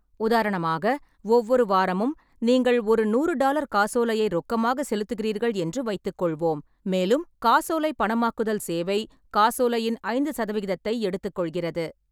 உதாரணமாக, ஒவ்வொரு வாரமும் நீங்கள் ஒரு நூறு டாலர் காசோலையை ரொக்கமாக செலுத்துகிறீர்கள் என்று வைத்துக்கொள்வோம், மேலும் காசோலை பணமாக்குதல் சேவை காசோலையின் ஐந்து சதவிகிதத்தை எடுத்துக்கொள்கிறது.